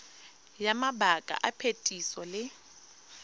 ya mabaka a phetiso le